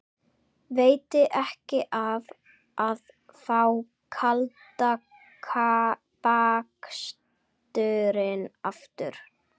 Veitti ekki af að fá kalda baksturinn aftur.